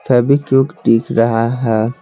फेवीक्विक दिख रहा है।